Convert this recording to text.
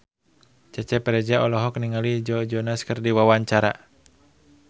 Cecep Reza olohok ningali Joe Jonas keur diwawancara